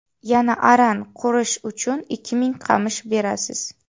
Yana aran qurish uchun ikki ming qamish berasiz”.